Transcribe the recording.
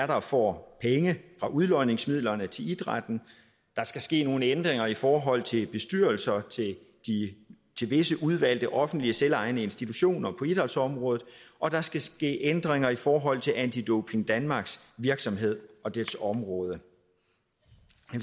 der får penge fra udlodningsmidlerne til idrætten der skal ske nogle ændringer i forhold til bestyrelserne til visse udvalgte offentlige og selvejende institutioner på idrætsområdet og der skal ske ændringer i forhold til anti doping danmarks virksomhed og dets område